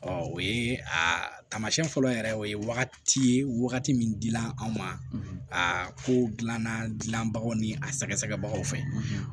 o ye a taamasiyɛn fɔlɔ yɛrɛ o ye wagati ye wagati min dila anw ma aa kow dilanna dilanbaga ni a sɛgɛsɛgɛbagaw fɛ